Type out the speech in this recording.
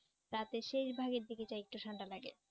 রাতের শেষ ভাগের দিকে যা একটু ঠান্ডা লাগে।